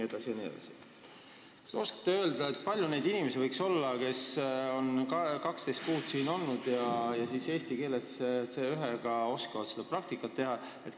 Kas te oskate öelda, et palju neid inimesi võiks olla, kes on 12 kuud siin olnud ja suudavad pärast seda eestikeelset praktikat selle eksami C1-tasemel keeleoskusega teha?